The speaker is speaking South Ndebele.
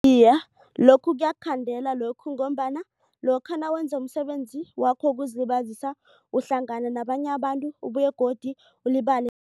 Iye, lokhu kuyakhandela lokhu ngombana lokha nawenza umsebenzi wakho wokuzilibazisa uhlangana nabanye abantu ubuye godu ulibale